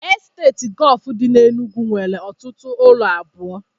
Estate Golf dị n'Enugwu nwere ọtụtụ ụlọ abụọ